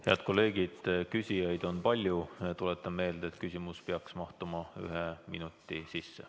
Head kolleegid, küsijaid on palju, tuletan meelde, et küsimus peaks mahtuma ühe minuti sisse.